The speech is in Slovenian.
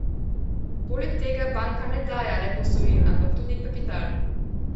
Poleg tega banka ne daje le posojil, ampak tudi kapital.